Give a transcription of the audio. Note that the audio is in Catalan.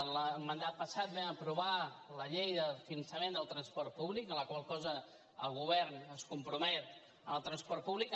en el mandat passat vam aprovar la llei de finançament del transport públic amb la qual cosa el govern es compromet al transport públic